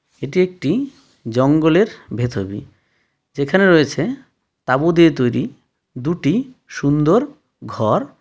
এটি একটি জঙ্গলের ভেতর যেখানে রয়েছে তাঁবু দিয়ে তৈরি দুটি সুন্দর ঘর.